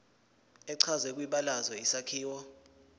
echazwe kwibalazwe isakhiwo